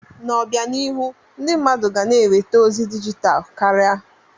N'obianihu, ndị mmadụ ga na-enweta ozi dijital kara.